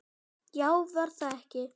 Já, var það ekki!